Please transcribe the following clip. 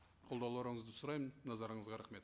қолдауларыңызды сұраймын назарыңызға рахмет